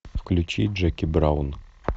включи джеки браун